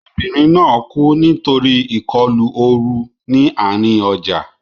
Obìnrin náà kú nítorí ìkọlù ooru ní àárín ọjà.